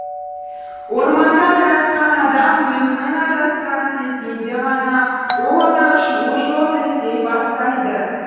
орманда адасқан адам өзінің адасқанын сезгенде ғана ол одан шығу жолын іздей бастайды